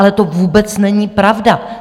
Ale to vůbec není pravda.